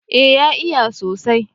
eh ya iya sosai